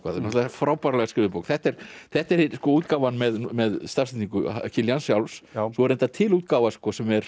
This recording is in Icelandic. frábærlega skrifuð bók þetta er þetta er útgáfan með stafsetningu Kiljans sjálfs svo er reyndar til útgáfa sem er